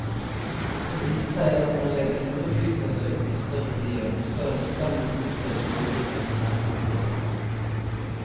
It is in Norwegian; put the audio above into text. Det viser seg at når en legger store flyplasser utenfor større byer, så er det bestandig behov for en småflyplass nær sentrum.